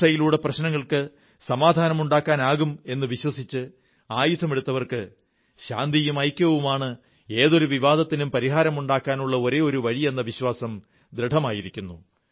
ഹിംസയിലൂടെ പ്രശ്നങ്ങൾക്ക് സമാധാനമുണ്ടാക്കാനാകും എന്നു വിചാരിച്ച് ആയുധമെടുത്തവർക്ക് ശാന്തിയും ഐക്യവുമാണ് ഏതൊരു വിവാദത്തിനും പരിഹാരമുണ്ടാക്കാനുള്ള ഒരേയൊരു വഴിയെന്ന വിശ്വാസം ദൃഢമായിരിക്കുന്നു